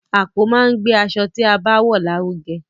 Àpò máa n gbe aṣọ ti a bá wọn larugẹ.